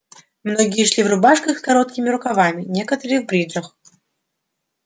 многие шли в рубашках с короткими рукавами некоторые в бриджах